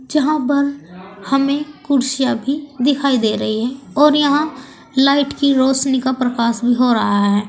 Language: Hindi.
जहां पर हमें कुर्सियां भी दिखाई दे रही हैं और यहां लाइट की रोशनी का प्रकाश भी हो रहा है।